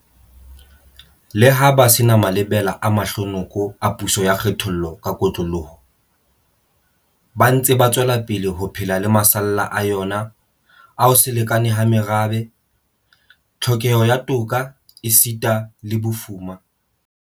Leha ba se na malebela a mahlo noko a puso ya kgethollo ka kotloloho, ba ntse ba tswelapele ho phela le masalla a yona a ho se lekane ha merabe, tlhokeho ya toka esita le bofuma.